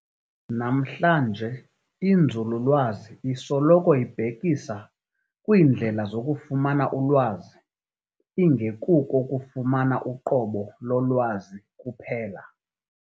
Namhlanje, "inzululwazi" isoloko ibhekisa kwiindlela zokufumana ulwazi, ingekuko ukufumana uqobo lolwazi kuphela.